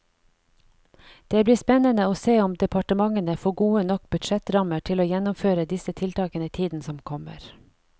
Det blir spennende å se om departementene får gode nok budsjettrammer til å gjennomføre disse tiltakene i tiden som kommer.